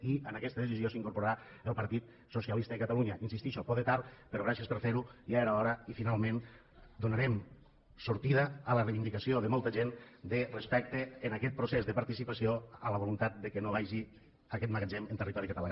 i a aquesta decisió s’hi incorporarà el partit socialista de catalunya hi insistixo poder tard però gràcies per fer ho ja era hora i finalment donarem sortida a la reivindicació de molta respecte a aquest procés de participació amb la voluntat que no vagi aquest magatzem en territori català